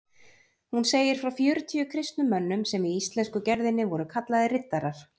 Hún segir frá fjörutíu kristnum mönnum sem í íslensku gerðinni voru kallaðir riddarar.